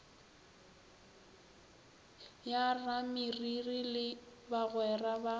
ya rameriri le bagwera ba